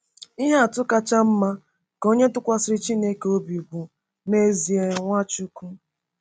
Ihe atụ kacha mma nke onye tụkwasịrị Chineke obi bụ, n’ezie, NwaChukwu.